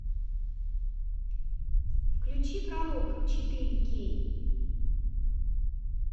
включи пророк четыре кей